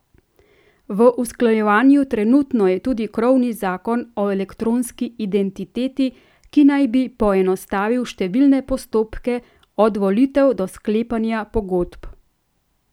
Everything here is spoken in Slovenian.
V usklajevanju trenutno je tudi krovni zakon o elektronski identiteti, ki naj bi poenostavil številne postopke, od volitev do sklepanja pogodb.